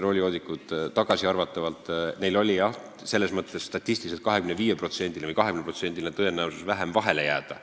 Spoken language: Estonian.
Roolijoodikutel oli jah statistiliselt 25% või 20% väiksem tõenäosus vahele jääda.